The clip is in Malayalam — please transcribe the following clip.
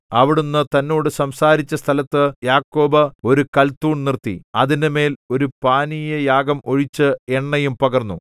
അവിടുന്ന് തന്നോട് സംസാരിച്ച സ്ഥലത്ത് യാക്കോബ് ഒരു കൽത്തൂൺ നിർത്തി അതിന്മേൽ ഒരു പാനീയയാഗം ഒഴിച്ച് എണ്ണയും പകർന്നു